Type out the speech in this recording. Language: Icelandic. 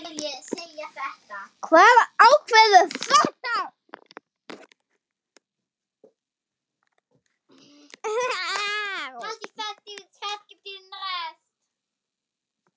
Hver ákveður þetta?